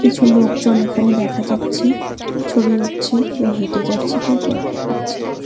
কিছু লোকজন এখানে দেখা যাচ্ছে ছবি উঠছে কেউ হেঁটে যাচ্ছে কেউ গল্প করছে ।